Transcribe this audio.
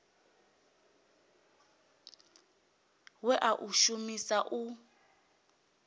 we a u shumisa u